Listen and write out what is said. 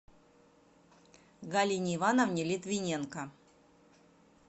галине ивановне литвиненко